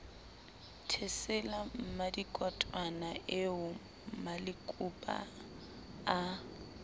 thesela mmadikotwana eo malekupa a